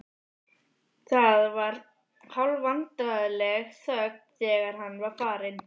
Það var hálfvandræðaleg þögn þegar hann var farinn.